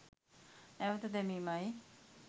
නැවත දැමීමයි